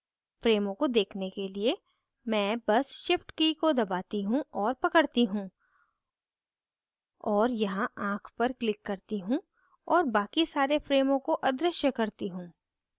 frames को देखने के लिए मैं बस shift की को दबाती हूँ और पकड़ती हूँ और यहाँ आँख पर click करती हूँ और बाकि सारे frames को अदृश्य करती हूँ